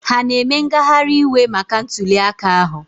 Ha na-eme ngagharị iwe maka ntuliaka ahụ?